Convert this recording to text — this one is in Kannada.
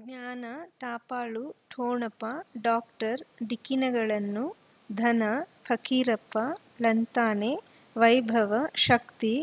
ಜ್ಞಾನ ಟ ಪಾಲು ಠೊಣಪ ಡಾಕ್ಟರ್ ಢಿಕ್ಕಿ ಣಗಳನು ಧನ ಫಕೀರಪ್ಪ ಳಂತಾನೆ ವೈಭವ್ ಶಕ್ತಿ